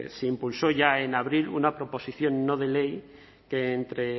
se impulsó ya en abril una proposición no de ley que entre